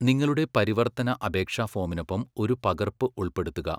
നിങ്ങളുടെ പരിവർത്തന അപേക്ഷാ ഫോമിനൊപ്പം ഒരു പകർപ്പ് ഉൾപ്പെടുത്തുക.